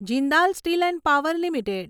Jindal Steel and Power limited